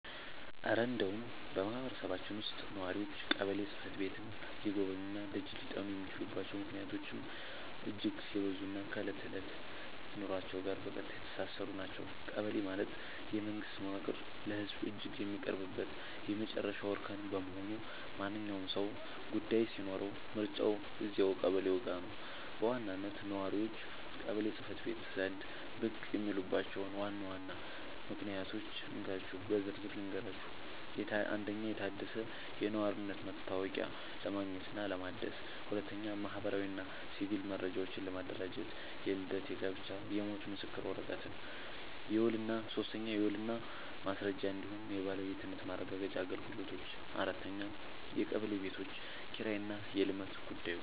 እረ እንደው በማህበረሰባችን ውስጥ ነዋሪዎች ቀበሌ ጽሕፈት ቤትን ሊጎበኙና ደጅ ሊጠኑ የሚችሉባቸው ምክንያቶችማ እጅግ የበዙና ከዕለት ተዕለት ኑሯችን ጋር በቀጥታ የተሳሰሩ ናቸው! ቀበሌ ማለት የመንግስት መዋቅር ለህዝቡ እጅግ የሚቀርብበት የመጨረሻው እርከን በመሆኑ፣ ማንኛውም ሰው ጉዳይ ሲኖረው መሮጫው እዚያው ቀበሌው ጋ ነው። በዋናነት ነዋሪዎች ቀበሌ ጽ/ቤት ዘንድ ብቅ የሚሉባቸውን ዋና ዋና ምክንያቶች እንካችሁ በዝርዝር ልንገራችሁ፦ 1. የታደሰ የነዋሪነት መታወቂያ ለማግኘትና ለማደስ 2. ማህበራዊና ሲቪል መረጃዎችን ለማደራጀት (የልደት፣ የጋብቻና የሞት ምስክር ወረቀት) 3. የውልና ማስረጃ እንዲሁም የባለቤትነት ማረጋገጫ አገልግሎቶች 4. የቀበሌ ቤቶች ኪራይና የልማት ጉዳዮች